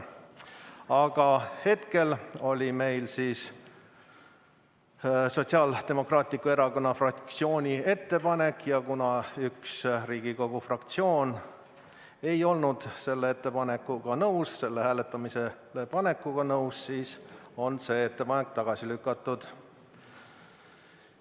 Aga hetkel on meil Sotsiaaldemokraatliku Erakonna fraktsiooni ettepanek ja kuna üks Riigikogu fraktsioon ei olnud selle ettepaneku hääletamisele panekuga nõus, siis on see ettepanek tagasi lükatud.